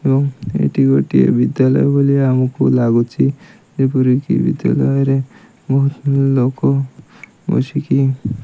ଏବଂ ଏଠି ଗୋଟିଏ ବିଦ୍ୟାଳୟ ଭଳିଆ ଆମକୁ ଲାଗୁଚି ଯେପରିକି ବିଦ୍ୟାଳୟରେ ବହୁତ୍ ଲୋକ ବସିକି --